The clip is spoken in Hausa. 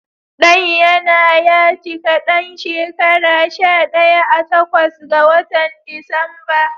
Ɗan ya na ya cika ɗan shekara shaɗaya a takwas ga watan Disamba.